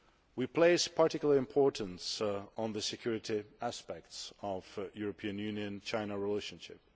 We place particular importance on the security aspects of the European Union China relationship.